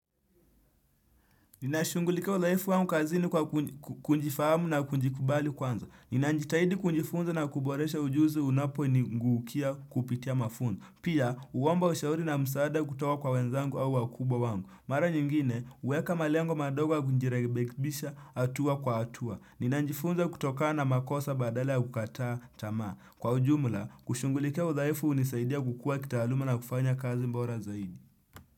Nina shungulikia udhaifu wangu kazini kwa kunjifahamu na kunjikubali kwanza. Nina njitahidi kunjifunza na kuboresha ujuzi unapo ni nguukia kupitia mafunda. Pia, uomba ushauri na msaada kutoka kwa wenzangu au wakubwa wangu. Mara nyingine, uweka malengo madogo kunjirekebisha atua kwa atua. Nina njifunza kutokana na makosa badala ya kukataa tamaa. Kwa ujumula, kushungulikia udhaifu unisaidia kukua kitaaluma na kufanya kazi mbora zaidi.